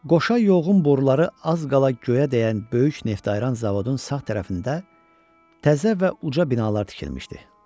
Qoşa yoğun boruları az qala göyə dəyən böyük neftayıran zavodun sağ tərəfində təzə və uca binalar tikilmişdi.